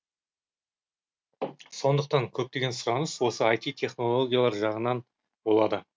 сондықтан көптеген сұраныс осы ай ти технологиялар жағынан болады